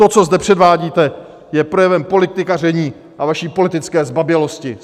To, co zde předvádíte, je projevem politikaření a vaší politické zbabělosti.